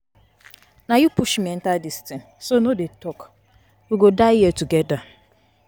Na you push me enter dis thing so no dey talk. We go die here together.